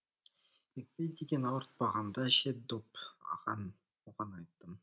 екпе деген ауыртпағанда ше деп оған айттым